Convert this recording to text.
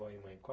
e mãe. Qual